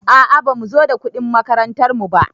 A a bamu zo da kuɗin makarantar mu ba.